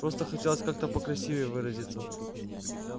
просто хотелось как-то покрасивее выразиться